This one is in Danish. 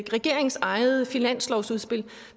regeringens eget finanslovsudspil